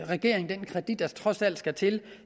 regeringen den kredit der trods alt skal til